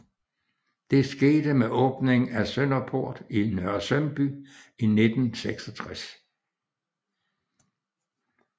Det skete med åbningen af Sønderport i Nørresundby i 1966